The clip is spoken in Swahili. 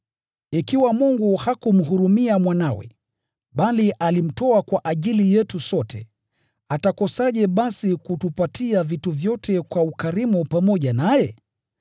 Ikiwa Mungu hakumhurumia Mwanawe, bali alimtoa kwa ajili yetu sote, atakosaje basi kutupatia vitu vyote kwa ukarimu pamoja naye?